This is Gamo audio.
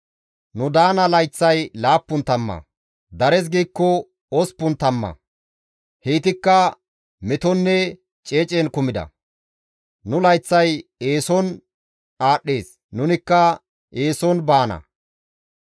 Nu daana layththay laappun tamma; dares giikko osppun tamma; heytikka metoninne ceecen kumida; nu layththay eeson aadhdhees; nunikka eeson baana.